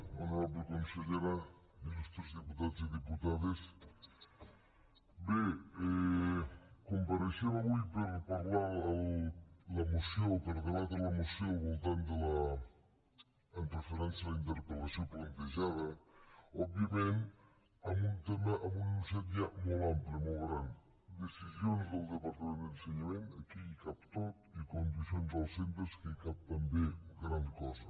honorable consellera il·putats i diputades bé compareixem avui per debatre la moció amb referència a la interpel·lació plantejada òbviament amb un tema amb un enunciat ja molt ample molt gran decisions del departament d’ensenyament aquí hi cap tot i condicions dels centres en què hi cap també gran cosa